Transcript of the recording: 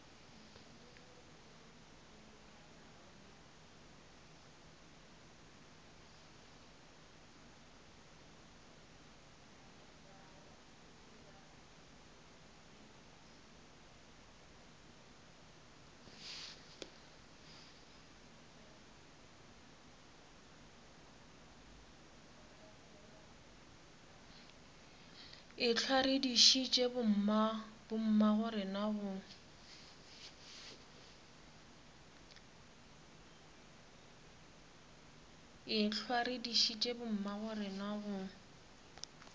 ehlwa re dišitše bommagorena go